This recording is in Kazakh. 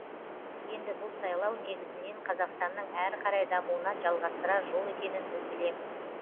енді бұл сайлау негізнен қазақстанның әрі қарай дамуына жалғастырар жол екенін біз білеміз